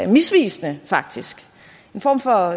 misvisende faktisk en form for